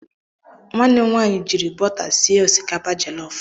Nwanne m nwaanyị jiiri bọta sie osikapa jọlọf.